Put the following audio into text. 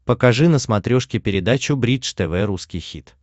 покажи на смотрешке передачу бридж тв русский хит